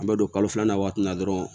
An bɛ don kalo filanan waati la dɔrɔn